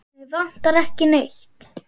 Mig vantar ekki neitt.